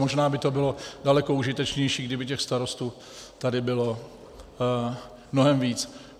Možná by to bylo daleko užitečnější, kdyby těch starostů tady bylo mnohem víc.